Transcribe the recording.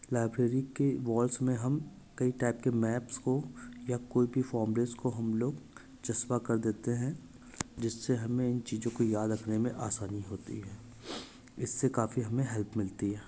Library के walls में हम कई टाइप के मैप्स को या कोई भी को हम लोग चस्पा कर देते हैं जिससे हमें इन चीजों को याद रखने में आसानी होती है। इससे काफी हमें हेल्प मिलती है।